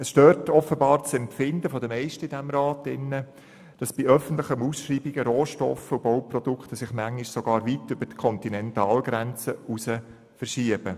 Offenbar stört es das Empfinden der meisten Ratsmitglieder, dass sich bei öffentlichen Ausschreibungen Rohstoffe und Bauprodukte manchmal sogar weit über die Kontinentalgrenzen hinaus verschieben –